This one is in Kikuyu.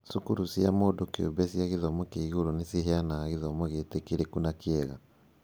Cukuru cia mũndũ kĩũmbe cia gĩthomo kĩa igũrũ nĩ ciheanaga gĩthomogĩĩtĩkĩrĩku na kĩega.